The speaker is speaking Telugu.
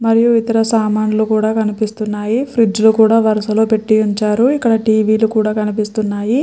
మరియు ఇతర సమన్లు కూడా కనిపిస్తున్నాయి ఫ్రిడ్జిలు కూడా వరసలో పెట్టి ఉంచారు ఇక్కడ టి వి లు కూడా కనిపిస్తున్నాయి .